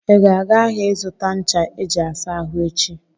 ị ga-aga ahịa ịzụta ncha eji asa ahụ echi?